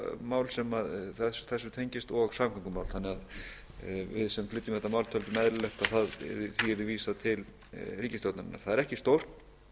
öryggismál sem þessu tengist og samgöngumál þannig að við sem flytjum þetta mál töldum eðlilegt að því yrði vísað til ríkisstjórnarinnar það er ekki stórt